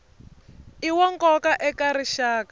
i wa nkoka eka rixaka